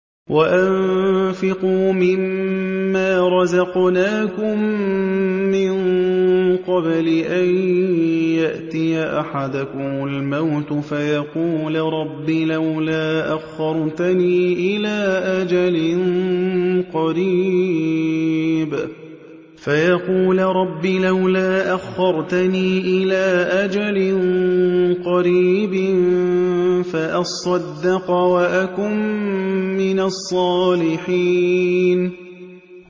وَأَنفِقُوا مِن مَّا رَزَقْنَاكُم مِّن قَبْلِ أَن يَأْتِيَ أَحَدَكُمُ الْمَوْتُ فَيَقُولَ رَبِّ لَوْلَا أَخَّرْتَنِي إِلَىٰ أَجَلٍ قَرِيبٍ فَأَصَّدَّقَ وَأَكُن مِّنَ الصَّالِحِينَ